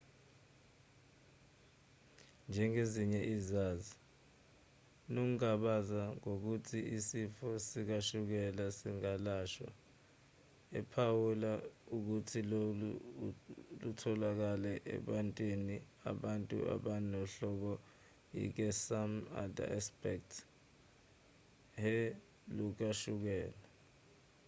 njengezinye izazi unokungabaza ngokuthi isifo sikashukela singalashwa ephawula ukuthi lokhu okutholakele akubathinti abantu abanohlobo ike some other experts he lukashukela